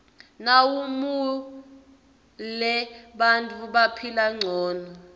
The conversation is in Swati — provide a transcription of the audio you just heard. nawumuale bantfu baphila ngcono